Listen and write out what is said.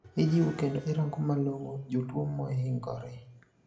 Ijiwo kendo irango malong`o jotuo maohingore